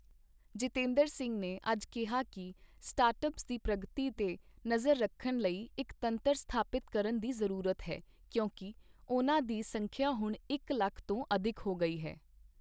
ਜਿਤੇਂਦਰ ਸਿੰਘ ਨੇ ਅੱਜ ਕਿਹਾ ਕਿ ਸਟਾਰਟ ਅਪੱਸ ਦੀ ਪ੍ਰਗਤੀ ਤੇ ਨਜ਼ਰ ਰੱਖਣ ਲਈ ਇੱਕ ਤੰਤਰ ਸਥਾਪਿਤ ਕਰਨ ਦੀ ਜ਼ਰੂਰਤ ਹੈ ਕਿਉਂਕਿ ਉਨ੍ਹਾਂ ਦੀ ਸੰਖਿਆ ਹੁਣ ਇੱਕ ਲੱਖ ਤੋਂ ਅਧਿਕ ਹੋ ਗਈ ਹੈ।